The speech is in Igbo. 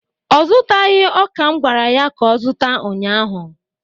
ọ zụtaghị ọka m gwara ya ka ọ zụta ụnyahụ?